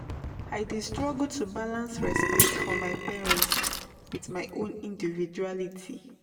I dey struggle to balance respect for my parent with my own individuality.